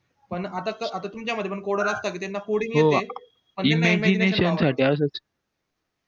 पण आता तुमच्या मध्ये पण coder असतात ज्यांना coding येते